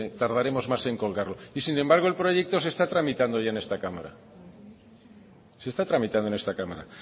tardaremos más en colgarlo y sin embargo el proyecto se está tramitando ya en esta cámara se está tramitando en esta cámara